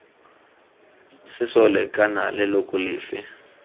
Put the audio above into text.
sesole kana d leloko lefe